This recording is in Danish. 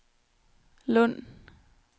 Lund